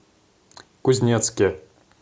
кузнецке